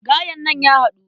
Gayen nan ya haɗu.